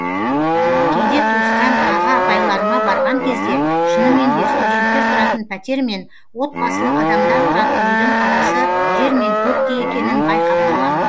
кейде туысқан аға апайларыма барған кезде шынымен де студенттер тұратын пәтер мен отбасылы адамдар тұратын үйдің арасы жер мен көктей екенін байқап қаламын